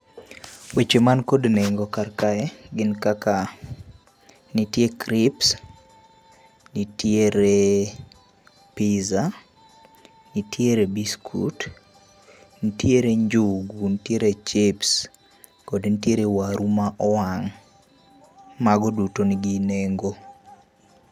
Weche man kod neng'o kar kae gin kaka, nitie crips, nitiere pizza, nitie biskut, nitiere njugu, nitiere chips[sc] kod nitiere waru ma owang'. Mago duto nigi neng'o